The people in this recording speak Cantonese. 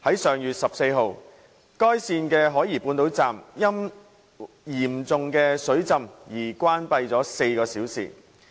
上月14日，該線的海怡半島站因嚴重水浸而關閉了4小時。